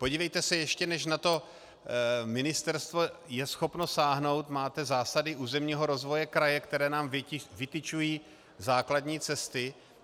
Podívejte se, ještě než na to ministerstvo je schopno sáhnout, máte zásady územního rozvoje kraje, které nám vytyčují základní cesty.